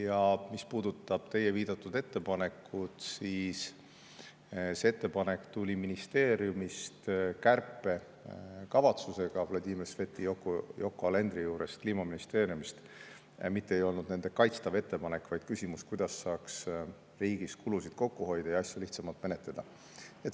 Ja mis puudutab teie viidatud ettepanekut, siis see ettepanek tuli ministeeriumist kärpekavatsusega, Vladimir Sveti ja Yoko Alenderi juurest Kliimaministeeriumist, mitte ei olnud nende kaitstav ettepanek, vaid küsimus, kuidas saaks riigis kulusid kokku hoida ja asju lihtsamalt menetleda.